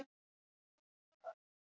Í sumar Í hvernig fótboltaskóm spilar þú?